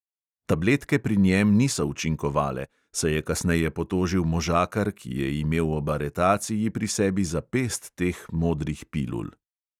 Tabletke pri njem niso učinkovale, se je kasneje potožil možakar, ki je imel ob aretaciji pri sebi za pest teh modrih pilul.